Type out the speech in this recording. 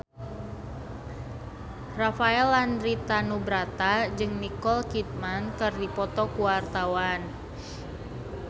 Rafael Landry Tanubrata jeung Nicole Kidman keur dipoto ku wartawan